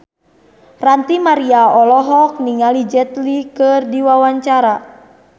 Ranty Maria olohok ningali Jet Li keur diwawancara